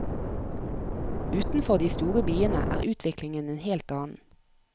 Utenfor de store byene er utviklingen en helt annen.